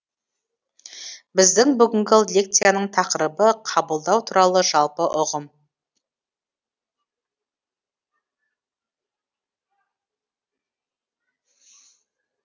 біздің бүгінгі лекцияның тақырыбы қабылдау туралы жалпы ұғым